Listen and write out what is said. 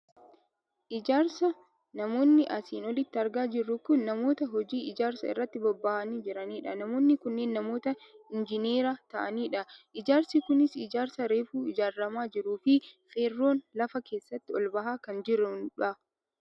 Ijaarsa, namoonni asiin olitti argaa jirru kun namoota hojii ijaarsaa irratti bobbahanii jiranidha. Namoonni kunneen namoota Injiinera ta'anidha. Ijaarsi kunis ijaarsa reefu ijaarramaa jiruufi feerroon lafa keessaa ol bahaa kan jirudha.